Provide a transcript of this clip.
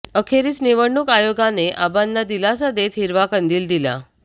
अखेरीस निवडणूक आयोगाने आबांना दिलासा देत हिरवा कंदील दिला